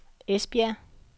Esbjerg